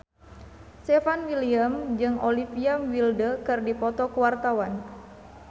Stefan William jeung Olivia Wilde keur dipoto ku wartawan